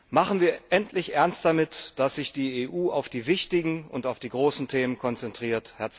Machen wir endlich Ernst damit, dass sich die EU auf die wichtigen und auf die großen Themen konzentriert!